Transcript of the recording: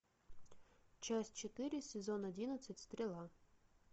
часть четыре сезон одиннадцать стрела